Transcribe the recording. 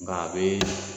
Nka a bɛ